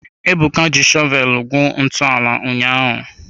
Ebuka ji shọvel gwuo ntọala ụnyaahụ.